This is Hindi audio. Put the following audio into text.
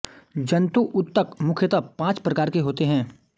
जन्तु ऊतक मुख्यतः पांच प्रकार के होते हैं